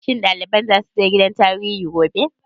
Shin ɗaliban za su je gidan tarihi gobe?